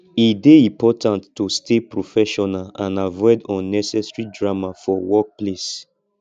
e dey important to stay professional and avoid unnecessary drama for workplace